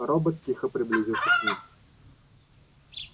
робот тихо приблизился к ним